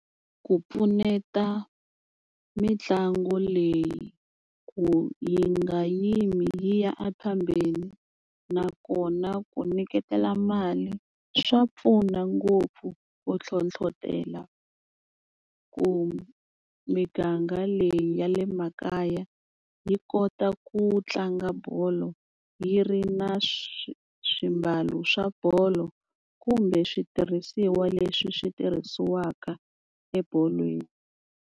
Ku pfuneta mitlangu leyi ku yi nga yimi yi ya a phambili nakona ku nyiketela mali swa pfuna ngopfu ku hlohlotela ku miganga leyi ya le makaya yi kota ku tlanga bolo yi ri na swimbalo swa bolo kumbe switirhisiwa leswi swi tirhisiwaka ebolweni.